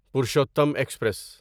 Purushottam express